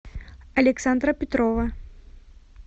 александра петрова